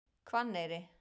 Hvanneyri